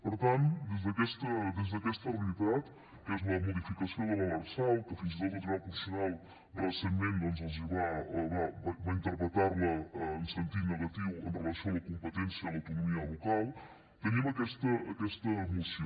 per tant des d’aquesta realitat que és la modificació de l’lrsal que fins i tot el tribunal constitucional recentment doncs va interpretar la en sentit negatiu amb relació a la competència de l’autonomia local tenim aquesta moció